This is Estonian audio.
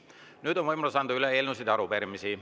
Nüüd on võimalus anda üle eelnõusid ja arupärimisi.